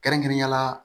Kɛrɛnkɛrɛnnenya la